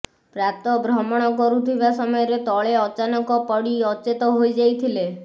ପ୍ରାତଃ ଭ୍ରମଣ କରୁଥିବା ସମୟରେ ତଳେ ଅଚାନକ ପୋଡ଼ି ଅଚେତ ହୋଇଯାଇଥିଲେ